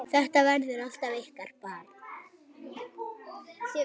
Þetta verður alltaf ykkar barn.